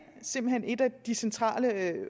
simpelt hen en af de centrale